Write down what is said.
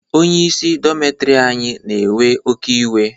Onyeisi dọmitiri anyị na-ewe oké iwe.